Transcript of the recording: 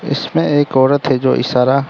इसमें एक औरत है जो इशारा--